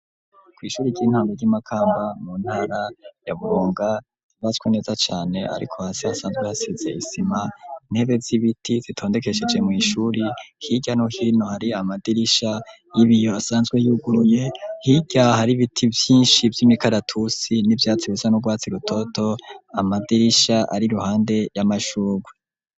Kw'ishuri ry'intango ry'i Makamba mu ntara ya Burunga, hubatswe neza cane, ariko hasi hasanzwe hasize isima. Intebe z'ibiti zitondekesheje mw'ishuri, hirya no hino hari amadirisha y'ibiyo asanzwe yuguruye, hirya har'ibiti vyinshi vy'imikaratusi n'ivyatsi bisa n'urwatsi rutoto, amadirisha ari ruhande y'amashurwe.